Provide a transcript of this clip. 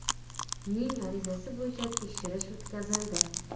ning arizasi bo‘yicha tekshirish o‘tkazildi.